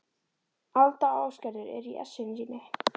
Alda og Ásgerður eru í essinu sínu.